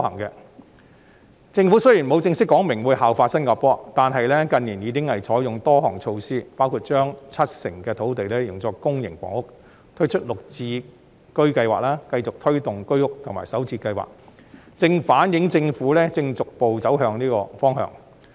雖然政府沒有正式講明會效法新加坡，但近年來已採用多項措施，包括將七成土地用作公營房屋、推出綠表置居計劃、繼續推動居屋的興建及首置計劃等，正反映政府逐步朝這方向走。